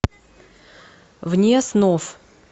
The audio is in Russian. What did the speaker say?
вне снов